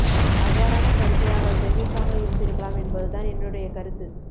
அவ்வாறான கருத்தை அவர் தெரிவிக்காமல் இருந்திருக்கலாம் என்பது தான் என்னுடைய கருத்து